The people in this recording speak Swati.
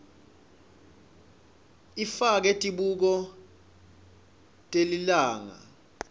ifake tibuko telilanga